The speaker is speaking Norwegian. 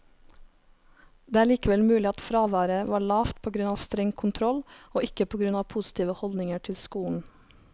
Det er likevel mulig at fraværet var lavt på grunn av streng kontroll, og ikke på grunn av positive holdninger til skolen.